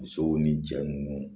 Musow ni cɛ nunnu